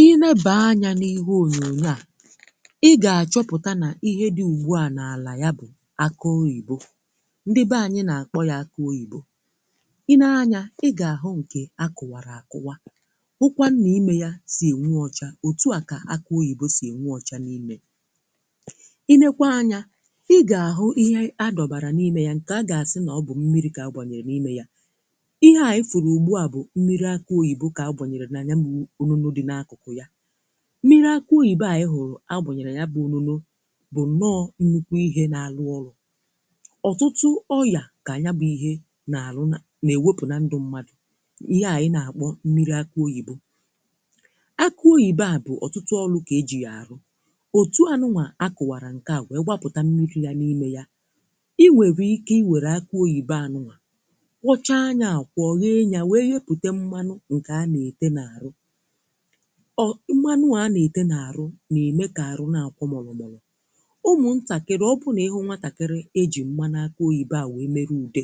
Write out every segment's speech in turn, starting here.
ihe ebe anya n’ihu onyonyo a ị ga-achọpụta na ihe dị ugbu a n’ala ya bụ̀ akụ oyibo ndịbe anyị na-akpọ ya akụ oyibo i nee anya ị ga-ahụ nke akụwara akụwa ụkwa nna ime ya sì nwa ọcha otu a ka akụ oyibo sì nwa ọcha n’ime i nekwa anya ị ga-ahụ ihe adọbara n’ime ya nke a ga-asị na ọ bụ mmiri ka a gbanye n’ime ya n’akụkụ̀ ya mmiri akụ oyibe ànyị hụrụ̀ a bụ̀ n’irì ya bụ̀ ununù bụ̀ nọọ̀ nnukwu ihe na-alụ ọrụ̀ ọtụtụ oyà ka anya bụ̀ ihe na-arụ nà na-ewepù na ndụ mmadụ̀ ihe ànyị na-akpọ̀ nmiri akụ oyibe akụ oyibe à bụ̀ ọtụtụ ọlụ̀ ka e jì yà àrụ òtù anụnwà a kụ̀wàrà nkè à wee gbapụta nmiri yà n’ime yà i nwèrè ike i wère akụ oyibe anụnwà kwọchàa anyȧ àkwọ ọnyị anyȧ wee hepute mmanụ ọ, mmanu a na-ete na-arụ na-eme ka arụ na-akwọ mọlọmọlọ ụmụntakịrị, ọbụna ịhụ nwatakịrị e ji mmanaka oyibe a wee mere ude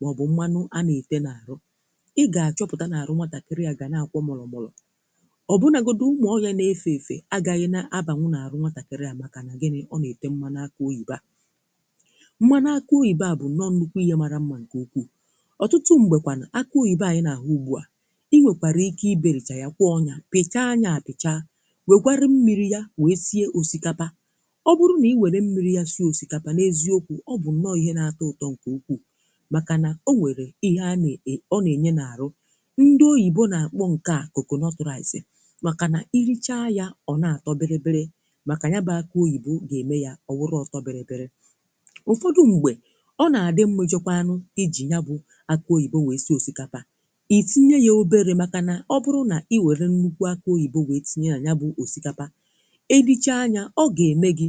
maọbụ mmanụ a na-ete na-arụ ị ga-akọpụda na-arụ nwatakịrị ya ga na-akwọ mọlọmọlọ ọbụnagodụ ume ọrịa na-efe efe agaghị na abanwụ na-arụ nwatakịrị ya maka na gini ọ na-ete mmanaka oyibe a mmanaka oyibe a bụ nọ nnukwu ihe mara mma nke ukwu ọtụtụ mgbe kwànụ akà oyibe anyị na-ahụ ugbu a pichaa anya pichaa wee gwarịrị mmiri ya wee sie osikapa ọ bụrụ na i were mmiri ya si osikapa na eziokwu ọ bụ nnọọ ihe na-ata utọ nke ukwuu maka na o nwere ihe a na-e na-enye n’arụ ndị oyibo na-akpọ nke a koko nọtọraịsị maka na irichaa ya ọ na-atọ biri biri maka ya bụ akụ oyibo ga-eme ya ọ wụrụ ọtọ biri biri ụfọdụ mgbe ọ na-adị mmụjọkwanụ iji ya bụ akụ oyibo wee si osikapa iwere nnukwu akà oyibo wee tinye anya bụ̀ osikapà i lichaa anya, ọ ga-eme gi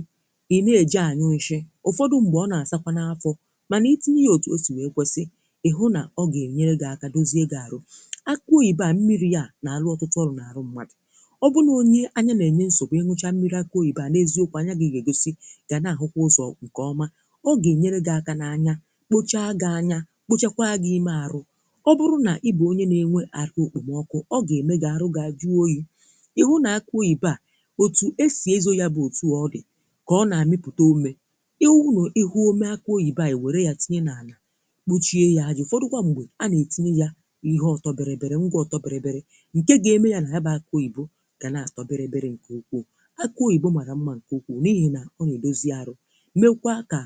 i na-eje anyụghị̀ shị̀ ụfọdụ̀ ṁgbe ọ na-asakwà n’afọ̀ mana i tinye ya otù o si wee kwesì ị hụ na ọ ga-enyere gi aka dozie ga-arụ̀ akà oyibo a mmiri ya na-alụ ọtụtụ ọrụ̀ n’arụ̀ mmadụ̀ ọ bụrụ̀ onye anya na-enye nsogbu ịnụchà mmiri akà oyibo na-eziokwà anya ga-egosi ga na-ahụkwà ụzọ̀ nke ọmà ọ ga-enyere gị akà na anya kpochà ga-anya kpochakwà ga-ime arụ̀ ọ bụrụ̀ na ị bụ onye na-enwe àhụ okpomọkụ̀ oghị̀ ihu nà akụ oyìbe à òtù esì ezo yà bụ̀ òtù ọgị̀ kà ọ nà-àmịpụta omè ịwụ̀ nà ihu ome akụ̀ oyìbe à ìwère yà tinye nà ànà kpuchie yà ajụ̀ ụfọdụ kwa ṁgbè a nà-etinye yà ihe ọtọbịrịbịrị ngwa ọtọbịrịbịrị nke ga-eme yà nà ya bụ akụ oyìbo gà na-àstọbịrịbịrị ǹkè ukwù akụ oyìbo màrà mmȧ ǹkè ukwù n’ihi nà o nyèdozi arụ̀ mekwa kà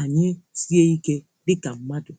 anyị tinye ike dịkà mmadụ̀